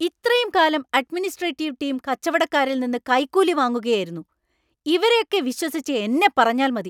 ഇത്രയും കാലം administrative team കച്ചവടക്കാരിൽ നിന്ന് കൈക്കൂലി വാങ്ങുകയായിരുന്നു; ഇവരെയൊക്കെ വിശ്വസിച്ച എന്നെ പറഞ്ഞാൽ മതി.